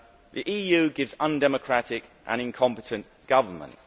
The EU gives undemocratic and incompetent government.